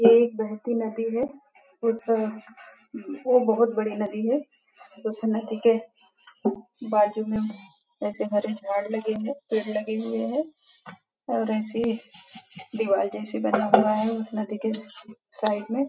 यह एक बहती नदी है उस तरफ यह बहुत ही बड़ी नदी है इस नदी के बाजु में ऐसे हरे झाड़ लगे है पेड़ लगे हुए हैं और ऐसी दीवार जैसी बना हुआ है उस नदी के साइड में --